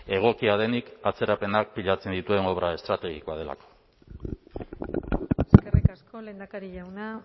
egokia denik atzerapenak pilatzen dituen obra estrategikoa delako eskerrik asko lehendakari jauna